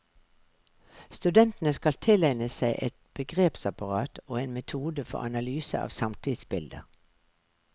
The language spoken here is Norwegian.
Studentene skal tilegne seg et begrepsapparat og en metode for analyse av samtidsbilder.